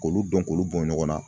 K'olu dɔn k'olu bɔn ɲɔgɔnna